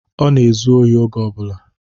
Ọ na-ezu ori oge ọbụla